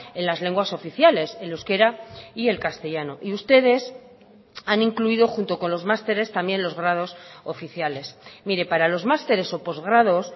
en las lenguas oficiales el euskera y el castellano y ustedes han incluido junto con los masteres también los grados oficiales mire para los masteres o postgrados